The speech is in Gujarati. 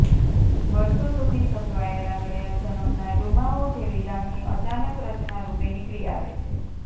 વર્ષો સુધી સચવાયેલા ગયા જનમના ડૂમાઓ જેવી લાગણી અચાનક રચના રૂપે નીકળી આવે છે